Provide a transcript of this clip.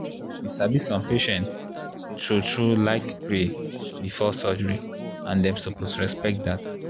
you sabi some patients true-true like pray before surgery and dem suppose respect dat.